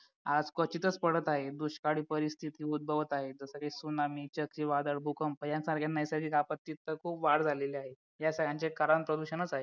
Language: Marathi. आज क्वचितच पडत आहे दुष्काळी परिस्थिती उद्भवत आहे जसं काही सुनामी चक्रीवादळ भूकंप यासारख्या नैसर्गिक आपत्तीत खूप वाढ झाली आहे या सगळ्यांचे कारण प्रदूषणच आहे